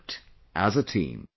We worked as a team